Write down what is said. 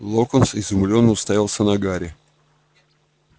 локонс изумлённо уставился на гарри